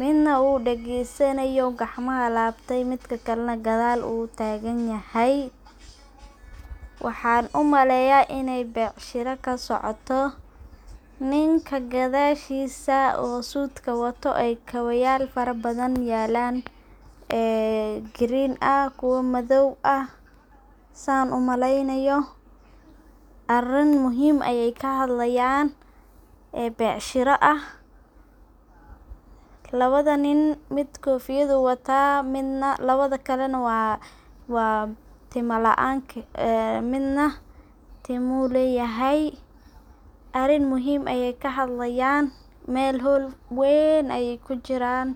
.Ninaa u dhageysanayo ,midna u gaacnta u gacanta u labtay . Waxan u maleya iney becsharo kasocoto ninka gadashisa oo sudka wato kabayal fara badan yalan, green ah kuwa madow ah san u maleynyo arin muhim ah ayey kahadlayan ee becsharo ah, labada nin mid kofiyad u wataa, labada kalena waa tomo laan midna timo u leyahay ,arin muhim ayey kahadlayan mel hol weyn ayey kujiran.